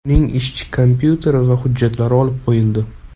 Uning ishchi kompyuteri va hujjatlari olib qo‘yildi.